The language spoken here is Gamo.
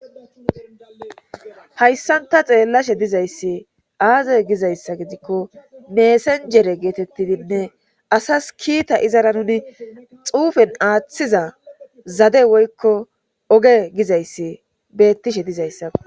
Hayssan ta xeellashe dizayssi aazay gizayssa gidikko meesanjere geetettidinne asas kiita izara nuni xuufen aaththiza zade woykko oge gizayssi bettishe dizayssa